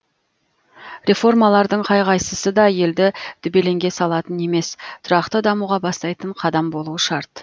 реформалардың қай қайсысы да елді дүрбелеңге салатын емес тұрақты дамуға бастайтын қадам болуы шарт